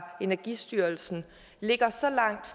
energistyrelsen